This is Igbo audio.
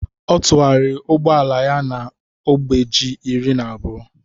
ọ tụgharịrị ụgbọ ala ya na ogbe ji iri na abụọ